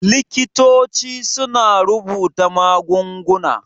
Likitoci suna rubuta magunguna.